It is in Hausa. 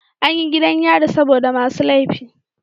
Anyi gidan yari saboda masu lefi